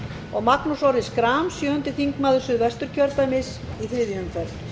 og magnús orri schram sjöundi þingmaður suðvesturkjördæmis í þriðju umferð